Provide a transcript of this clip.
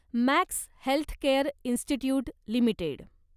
max healthcare institute limited